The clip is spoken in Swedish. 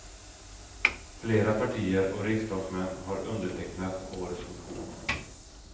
Flera partier och riksdagsmän har undertecknat årets motion.